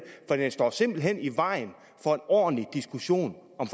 for den står simpelt hen i vejen for en ordentlig diskussion om